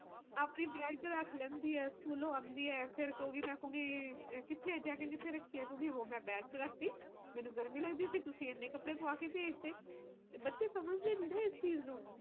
ਮੀਹ ਦੇ ਚ ਵੀ ਪਤਾ ਮੀਹ ਦੇ ਮੌਸਮ ਚ ਅਏ ਹੁੰਦਾ ਕੀ ਮੀਹ ਇੱਕ-ਅੱਧੀ ਵਾਰ ਪੈ ਗਿਆ ਵਧੀਆ ਮੌਸਮ ਵਧੀਆ ਹੋ ਜਾਂਦਾ ਹਵਾ ਚਾਲ ਪੀ ਠੰਡੀ ਪਰ ਰੋਜ਼ ਈ